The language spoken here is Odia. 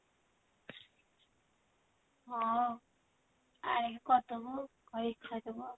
ହଁ ଆଣିକି କରିଦବୁ କରିକି ଖାଇଦବୁ ଆଉ